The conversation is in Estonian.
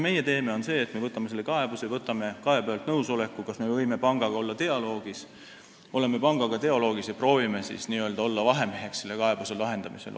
Meie aga võtame selle kaebuse, võtame kaebajalt nõusoleku, kas me võime pangaga olla dialoogis, oleme pangaga dialoogis ja proovime siis olla n-ö vahemeheks selle kaebuse lahendamisel.